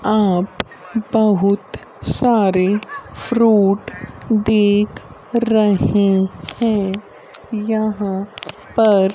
आप बहुत सारे फ्रूट दिख रहे हैं यहां पर।